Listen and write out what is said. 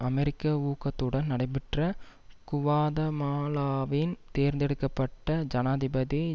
அமெரிக்க ஊக்கத்துடன் நடைபெற்ற குவாதமாலாவின் தேர்ந்தெடுக்க பட்ட ஜனாதிபதி